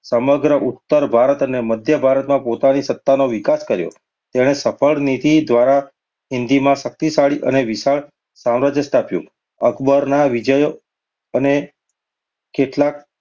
સમગ્ર ઉત્તર ભારત અને મધ્ય ભારતમાં પોતાની સત્તાનો વિકાસ કર્યો. તેણે સફળ નીતિ દ્વારા હિંદમાં શક્તિશાળી અને વિશાળ સામ્રાજ્ય સ્થાપ્યું. અકબરના વિજય અને કેટલાંક